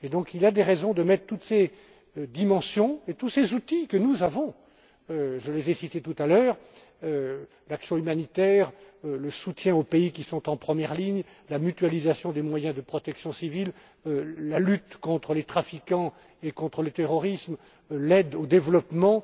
Il y a donc des raisons de mettre ensemble toutes ces dimensions et tous ces outils dont nous disposons je les ai cités tout à l'heure l'action humanitaire, le soutien aux pays qui sont en première ligne, la mutualisation des moyens de protection civile, la lutte contre les trafiquants et contre le terrorisme, l'aide au développement,